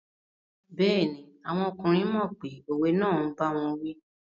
Bẹ́ẹ̀ni, àwọn ọkùnrin mọ̀ pé òwe náà n báwọn wí